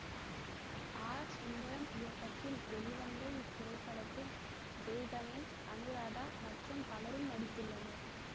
R Sundaram இயக்கத்தில் வெளிவந்த இத்திரைப்படத்தில் ஜெய்கணேஷ் அனுராதா மற்றும் பலரும் நடித்துள்ளனர்